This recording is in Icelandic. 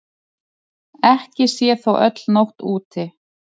Ekki sé þó öll nótt úti.